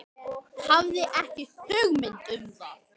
Hafði ekki hugmynd um það.